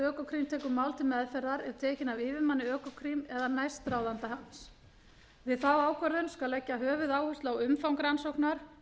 økokrim tekur mál til meðferðar er tekin af yfirmanni økokrim eða næstráðanda hans við þá ákvörðun skal leggja höfuðáherslu á umfang rannsóknar